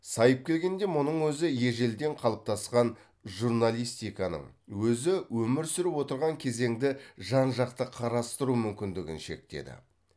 сайып келгенде мұның өзі ежелден қалыптасқан журналистиканың өзі өмір сүріп отырған кезеңді жан жақты қарастыру мүмкіндігін шектеді